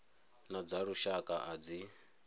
na dza lushaka a dzi